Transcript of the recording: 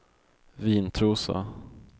Vintrosa